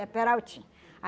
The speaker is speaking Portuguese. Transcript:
É peraltinha